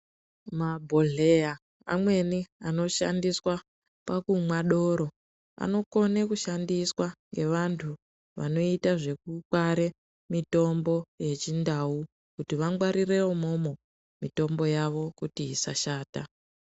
Mabhodhleya amweni anoshandiswa pakumwa doro anokone kushandiswa ngevantu vanoita zvekukware mitombo yechindau kuti vangwarire imwomwo kuti mitombo yawo isashata.